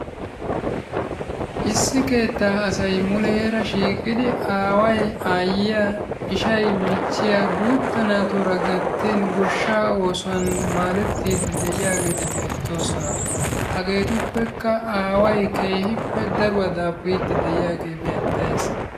Issi keettaa asay mulleera shiqidi Aaway, Aayiya, ishay, michiya gutta naatura gattin goshshaa oosuwaan maadettidideiyageti bettoosona. Hagetuppekka Aaway daruwaa dafuridi de'iyagee beettees.